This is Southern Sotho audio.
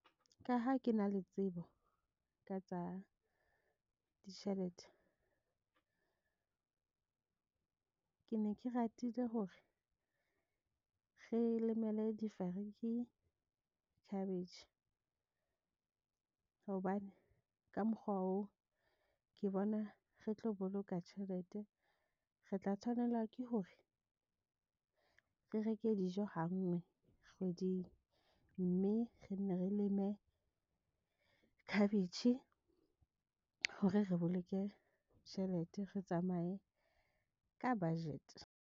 Ka ha ke na le tsebo ka tsa ditjhelete ke ne ke ratile hore re lemele difariki cabbage, hobane ka mokgwa oo ke bona re tlo boloka tjhelete. Re tla tshwanela ke hore re reke dijo ha nngwe kgweding mme re nne re leme cabbage hore re boloke tjhelete re tsamaye ka budget.